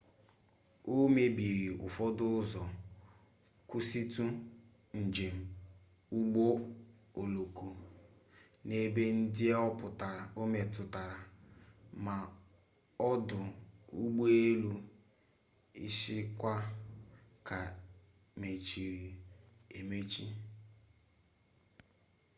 o mebiri ụfọdụ ụzọ kwụsịtụ njem ụgbọ oloko n'ebe ndị o metụtara ma ọdụ ụgbọelu ishikawa ka mechiri emechi